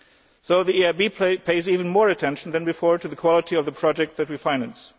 So the EIB pays even more attention than before to the quality of the projects that we finance.